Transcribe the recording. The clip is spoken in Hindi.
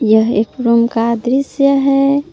यह एक रूम का दृश्य है।